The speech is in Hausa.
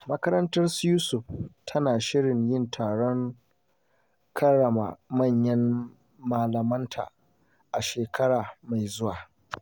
Makarantar su Yusuf tana shirin yin taron karrama manyan malamanta a shekara mai zuwa.